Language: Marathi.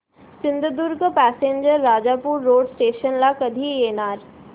Sindhudurg passenger Rajapur road station ला कधी येणार